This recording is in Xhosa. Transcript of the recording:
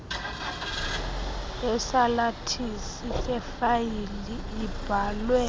yesalathisi sefayile libhalwe